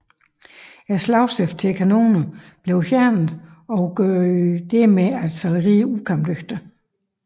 Slagstiften til kanonerne blev fjernet og gjorde dermed artilleriet ukampdygtigt